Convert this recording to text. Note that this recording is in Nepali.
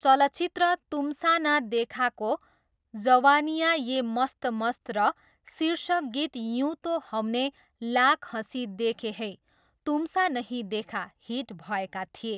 चलचित्र तुमसा न देखाको 'जवानियाँ ये मस्त मस्त' र शीर्षक गीत 'युँ तो हमने लाख हँसी देखे हैं, तुमसा नहीं देखा' हिट भएका थिए।